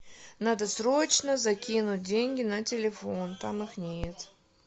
надо срочно закинуть деньги на телефон там их нет